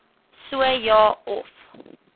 so ja of